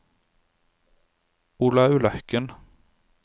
Olaug Løkken